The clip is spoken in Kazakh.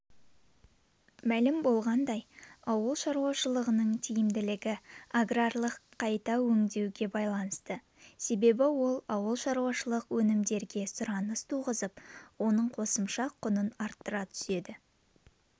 мәлім болғандай ауыл шаруашылығының тиімділігі аграрлық қайта өңдеуге байланысты себебі ол ауылшаруашылық өнімдерге сұраныс туғызып оның қосымша құнын арттыра түседі